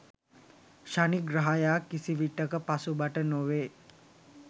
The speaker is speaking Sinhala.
ශනි ග්‍රහයා කිසිවිටක පසුබට නොවේ